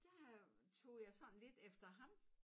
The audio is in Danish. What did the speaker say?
Der øh tog jeg sådan lidt efter ham